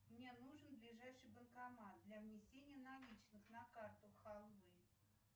мне нужен ближайший банкомат для внесения наличных на карту халвы